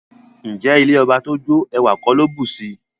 Ǹjẹ́ ilẹ̀ ọbà tó jó, èwà kò ló bùṣí?